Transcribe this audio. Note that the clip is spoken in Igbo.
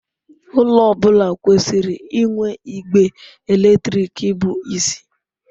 Ụlọ ọ bụla kwesịrị inwe igbe eletrik bụ isi.